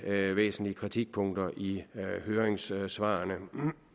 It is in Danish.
er ikke væsentlige kritikpunkter i høringssvarene